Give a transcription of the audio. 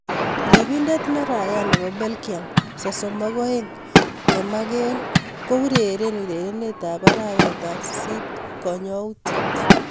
Ripindet ne raia nebo Belgium sosom ak oeng kemakel komakel koureren urerenet ab arawet ab sisit konyutiet